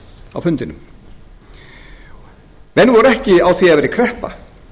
á fundinum menn voru ekki á því að það væri kreppa